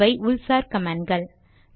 இவை உள்சார் கமாண்ட் கள்